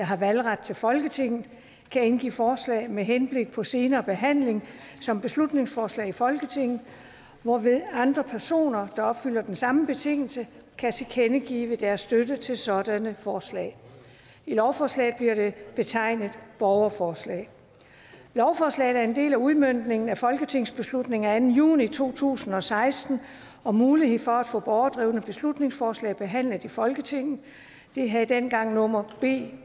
har valgret til folketinget kan indgive forslag med henblik på senere behandling som beslutningsforslag i folketinget hvorved andre personer der opfylder den samme betingelse kan tilkendegive deres støtte til sådanne forslag i lovforslaget bliver det betegnet borgerforslag lovforslaget er en del af udmøntningen af folketingsbeslutning af anden juni to tusind og seksten om muligheden for at få borgerdrevne beslutningsforslag behandlet i folketinget det havde dengang nummer b